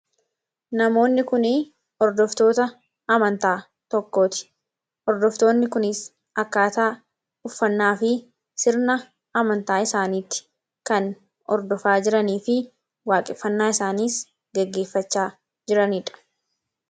Namoonni kun hordoftoota amantaa tokkooti. Hordoftoonni kunis akkaataa uffannaa fi sirna amantaa isaaniitti kan hordofaa jiranii fi waaqeffannaa isaaniis geggeeffachaa jiraniidha.